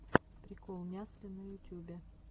прикол нясли на ютюбе